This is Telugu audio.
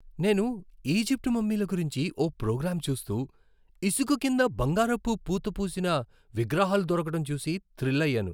నేను ఈజిప్టు మమ్మీల గురించి ఓ ప్రోగ్రాం చూస్తూ, ఇసుక కింద బంగారపు పూతపోసిన విగ్రహాలు దొరకటం చూసి థ్రిల్ అయ్యాను.